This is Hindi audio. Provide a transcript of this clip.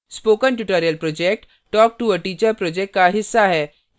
spoken tutorial project talktoa teacher project का हिस्सा है